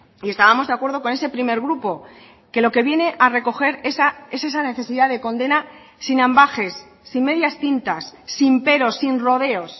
y estábamos de acuerdo con ese primer grupo que lo que viene a recoger es esa necesidad de condena sin ambages sin medias tintas sin peros sin rodeos